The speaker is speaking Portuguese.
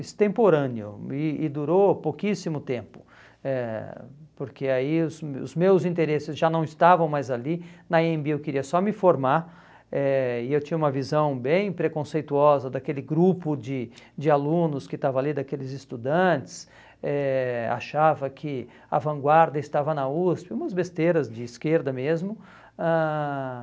extemporâneo e e durou pouquíssimo tempo, eh porque aí os meus os meus interesses já não estavam mais ali, na Anhembi eu queria só me formar eh e eu tinha uma visão bem preconceituosa daquele grupo de de alunos que estava ali, daqueles estudantes, eh achava que a vanguarda estava na USP, umas besteiras de esquerda mesmo. Ãh